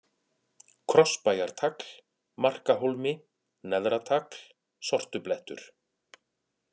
Krossbæjartagl, Markahólmi, Neðratagl, Sortublettur